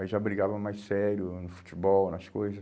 Aí já brigava mais sério no futebol, nas coisas.